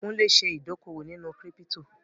Kúnlé ṣe ìdókòwò nínú kírípítò